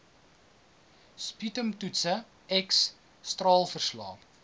sputumtoetse x straalverslae